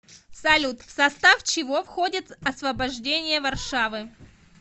салют в состав чего входит освобождение варшавы